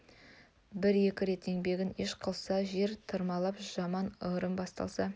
бір-екі рет еңбегін еш қылса жер тырмалап жаман ырым бастама